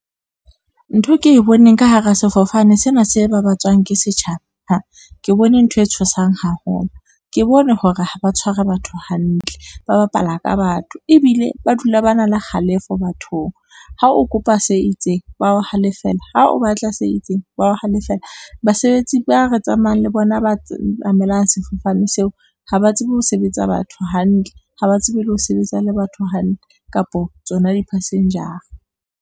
Ntho ke e boneng ka hara sefofane sena se babatswang ke setjhaba, ke bone ntho e tshosang haholo, ke bone hore ha ba tshware batho hantle, ba bapala ka batho ebile ba dula ba na le kgalefo bathong. Ha o kopa se itseng ba o halefela, ha o batla se itseng ba o halefela basebetsi ba re tsamayang le bona ba sefofane seo, ha ba tsebe ho sebetsa batho hantle, ha ba tsebe le ho sebetsa le batho hantle kapa tsona di passenger-a.